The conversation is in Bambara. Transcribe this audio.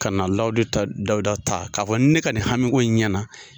Ka na lawudu ta Dawuda ta k'a fɔ ne ka nin hami ko in ɲɛna